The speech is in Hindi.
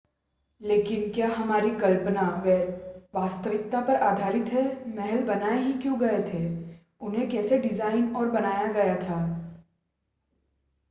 लेकिन क्या हमारी कल्पना वास्तविकता पर आधारित है महल बनाए ही क्यों गए थे उन्हें कैसे डिज़ाइन और बनाया गया था